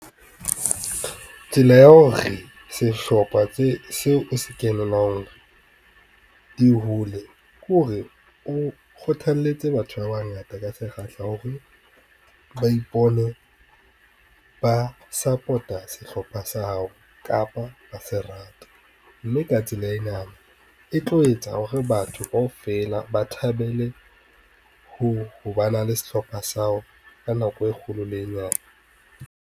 Tsela ya hore sehlopha seo o se kenelang, di hole kore o kgothaletse batho ba bangata ka sekgahla hore ba ipone, ba support-a sehlopha sa hao kapa ba se rata. Mme ka tsela ena e tlo etsa hore batho kaofela ba thabele, ho ba na le sehlopha sa hao ka nako e kgolo le e nyane.